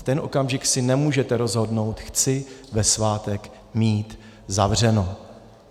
V ten okamžik si nemůžete rozhodnout: chci ve svátek mít zavřeno.